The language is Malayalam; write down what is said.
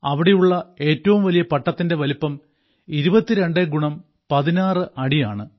അവിടെയുള്ള ഏറ്റവും വലിയ പട്ടത്തിന്റെ വലിപ്പം 22 ക്സ് 16 ഫീറ്റ് ആണ്